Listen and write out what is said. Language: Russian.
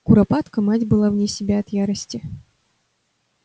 куропатка мать была вне себя от ярости